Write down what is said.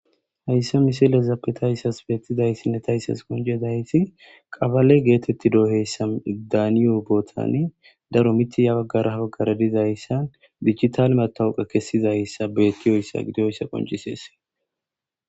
Haysa misilezappe tas betizaysinne tas qoncizays qabale getetiyosa daniyo botan daro mith he bagara ha bagara dizaysa betiyoysa gidoysa qoncises